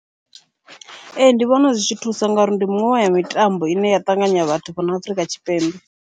Ee, ndi vhona zwi tshi thusa ngauri ndi miṅwe ya mitambo ine ya ṱanganya vhathu fhano Afrika Tshipembe.